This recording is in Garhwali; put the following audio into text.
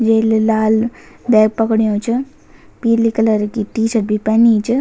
येल लाल बैग पकिडयूँ च पीली कलर की टी शर्ट भी पैनी च।